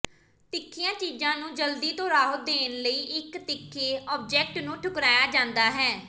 ਤਿੱਖੀਆਂ ਚੀਜ਼ਾਂ ਨੂੰ ਜਲਦੀ ਤੋਂ ਰਾਹਤ ਦੇਣ ਨਾਲ ਇਕ ਤਿੱਖੇ ਆਬਜੈਕਟ ਨੂੰ ਠੁਕਰਾਇਆ ਜਾਂਦਾ ਹੈ